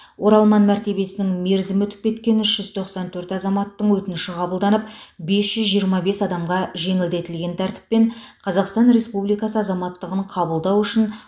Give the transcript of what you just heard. оралман мәртебесінің мерзімі өтіп кеткен үш жүз тоқсан төрт азаматтардың өтініші қабылданып бес жүз жиырма бес адамға жеңілдетілген тәртіппен қазақстан республикасы азаматтығын қабылдау үшін